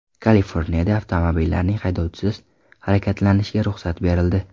Kaliforniyada avtomobillarning haydovchisiz harakatlanishiga ruxsat berildi.